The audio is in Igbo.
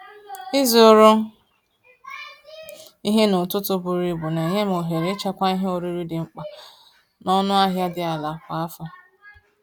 Ịzụrụ ihe n’ụtụtụ buru ibu na-enye m ohere ịchekwa ihe oriri dị mkpa n’ọnụ ahịa dị ala kwa afọ.